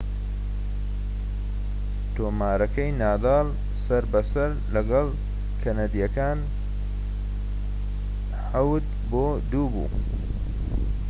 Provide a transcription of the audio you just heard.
تۆمارەکەی نادال سەر بە سەر لەگەڵ کەنەدیەکەدا ٧-٢ بوو